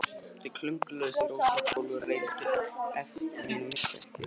Þeir klöngruðust yfir óslétt gólfið og reyndu eftir megni að missa ekki virðuleikann.